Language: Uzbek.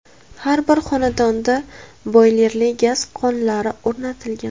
Har bir xonadonda boylerli gaz qozonlari o‘rnatilgan.